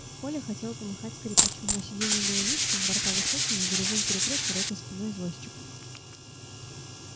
коля хотел помахать скрипачу но сиденье было низким борта высокими горизонт перекрыт широкой спиной извозчика